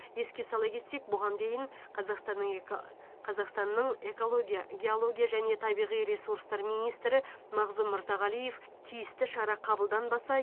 еске сала кетсек бұған дейін қазақстанның эка қазақстанның экология геология және табиғи ресурстар министрі мағзұм мырзағалиев тиісті шара қабылданбаса